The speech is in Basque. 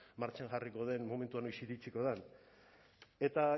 martxan jarriko den momentua noiz iritsiko den eta